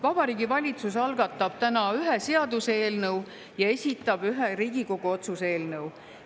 Vabariigi Valitsus algatab täna ühe seaduseelnõu ja esitab ühe Riigikogu otsuse eelnõu.